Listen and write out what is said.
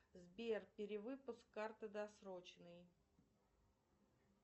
сбер перевыпуск карты досрочный